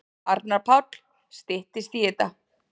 Arnar Páll: Styttist í þetta.